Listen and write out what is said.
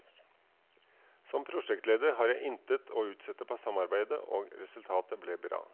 Som prosjektleder har jeg intet å utsette på samarbeidet, og resultatet ble bra.